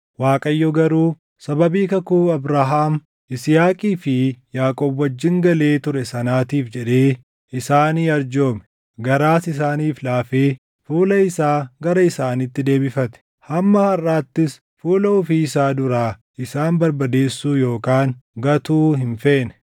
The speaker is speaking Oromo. Waaqayyo garuu sababii kakuu Abrahaam, Yisihaaqii fi Yaaqoob wajjin galee ture sanaatiif jedhee isaanii arjoome; garaas isaaniif laafee fuula isaa gara isaaniitti deebifate. Hamma harʼaattis fuula ofii isaa duraa isaan barbadeessuu yookaan gatuu hin feene.